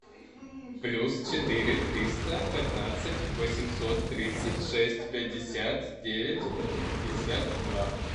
плюс четыре триста пятнадцать восемьсот тридцать шесть пятьдесят девять пятьдесят два